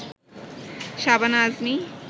Shabana Azmi